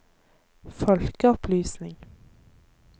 folkeopplysning